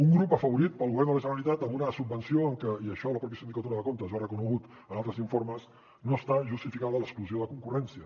un grup afavorit pel govern de la generalitat amb una subvenció en que i això la pròpia sindicatura de comptes ho ha reconegut en altres informes no està justificada l’exclusió de concurrència